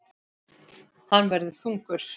Hann verður þungur.